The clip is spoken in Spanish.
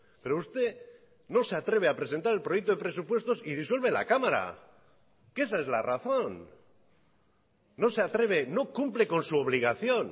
pero usted no se atreve a presentar el proyecto de presupuestos y disuelve la cámara que esa es la razón no se atreve no cumple con su obligación